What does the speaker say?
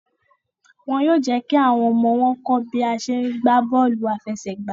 Wón yóò jékí àwọn ọmọ wón kọ bi a ṣe gbà bóòlù afẹsẹgba